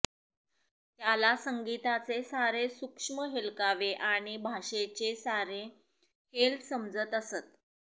त्याला संगीताचे सारे सूक्ष्म हेलकावे आणि भाषेचे सारे हेल समजत असत